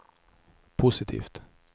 positivt